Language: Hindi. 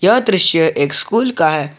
यह दृश्य एक स्कूल का है।